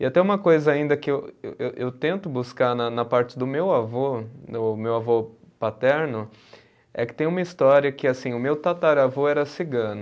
E até uma coisa ainda que eu, eu tento buscar na na parte do meu avô, do meu avô paterno, é que tem uma história que assim, o meu tataravô era cigano.